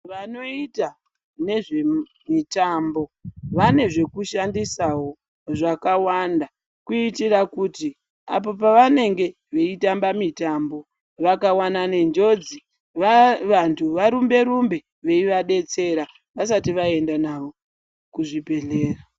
Vanoita nezvemitambo vane zvekushandisawo zvakawanda kuitira kuti apo pavanenge veitamba mitambo vakawanana nenjodzi vantu varumbe rumbe veiva detsera vasati vaenda navo kuzvibhedhlera.